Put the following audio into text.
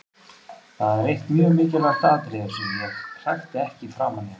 Það er eitt mjög mikilvægt atriði í þessu: Ég hrækti ekki framan í hann.